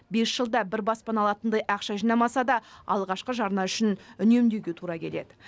бес жылда бір баспана алатындай ақша жинамаса да алғашқы жарна үшін үнемдеуге тура келеді